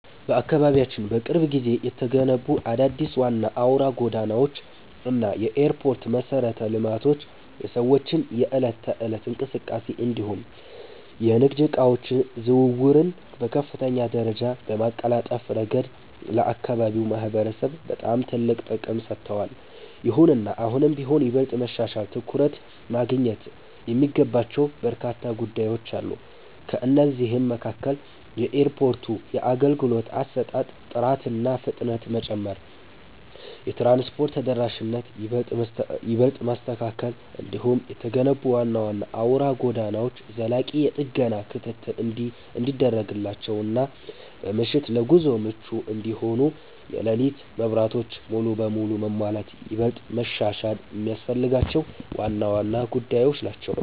በአካባቢያችን በቅርብ ጊዜ የተገነቡት አዳዲስ ዋና አውራ ጎዳናዎች እና የኤርፖርት መሠረተ ልማቶች የሰዎችን የዕለት ተዕለት እንቅስቃሴ እንዲሁም የንግድ ዕቃዎች ዝውውርን በከፍተኛ ደረጃ በማቀላጠፍ ረገድ ለአካባቢው ማህበረሰብ በጣም ትልቅ ጥቅም ሰጥተዋል። ይሁንና አሁንም ቢሆን ይበልጥ መሻሻልና ትኩረት ማግኘት የሚገባቸው በርካታ ጉዳዮች አሉ። ከእነዚህም መካከል የኤርፖርቱ የአገልግሎት አሰጣጥ ጥራትና ፍጥነት መጨመር፣ የትራንስፖርት ተደራሽነትን ይበልጥ ማስተካከል፣ እንዲሁም የተገነቡት ዋና ዋና አውራ ጎዳናዎች ዘላቂ የጥገና ክትትል እንዲደረግላቸውና በምሽት ለጉዞ ምቹ እንዲሆኑ የሌሊት መብራቶች ሙሉ በሙሉ መሟላት ይበልጥ መሻሻል የሚያስፈልጋቸው ዋና ዋና ጉዳዮች ናቸው።